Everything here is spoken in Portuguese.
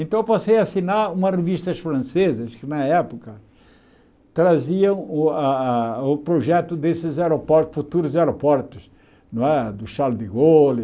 Então eu passei a assinar umas revistas francesas, que na época traziam o a a o projeto desses aeroportos, futuros aeroportos, não é do Charles de Gaulle...